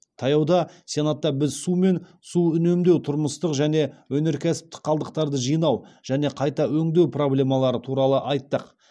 таяуда сенатта біз су мен су үнемдеу тұрмыстық және өнеркәсіптік қалдықтарды жинау және қайта өңдеу проблемалары туралы айттық